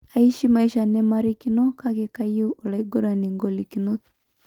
Aishi maisha nemarikino, kake keyieu oloaigurani ngolikinot.''